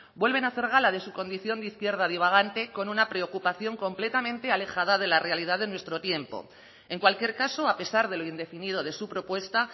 vuelven a hacer gala de su condición de izquierda divagante con una preocupación completamente alejada de la realidad de nuestro tiempo en cualquier caso a pesar de lo indefinido de su propuesta